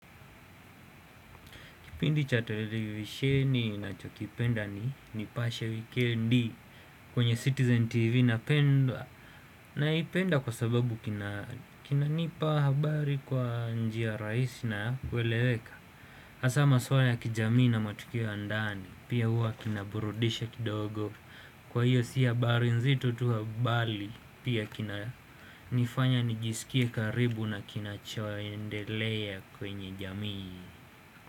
Kipindi cha televisheni na chokipenda ni nipashe wikendi kwenye Citizen TV napendwa. Na ipenda kwa sababu kina nipa habari kwa njia rahisi na kweleweka. Haswa maswala ya kijamii na matukio yandani. Pia hua kinaburudisha kidogo. Kwa hiyo siyo habari nzito tu wa bali. Pia kina nifanya nijisikia karibu na kinachoaendelea kwenye jamii.